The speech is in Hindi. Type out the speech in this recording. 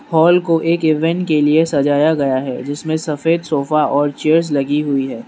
हॉल को एक इवेंट के लिए सजाया गया है जिसमें सफेद सोफा और चेयर्स लगी हुई है।